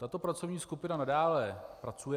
Tato pracovní skupina nadále pracuje.